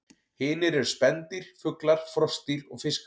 Hinir eru spendýr, fuglar, froskdýr og fiskar.